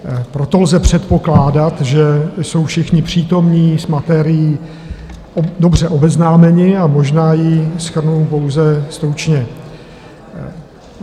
Proto lze předpokládat, že jsou všichni přítomní s materií dobře obeznámeni, a možná ji shrnu pouze stručně.